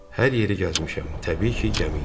Hər yeri gəzmişəm, təbii ki, gəmi ilə.